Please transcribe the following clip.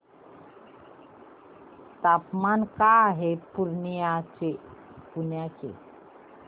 तापमान काय आहे पूर्णिया चे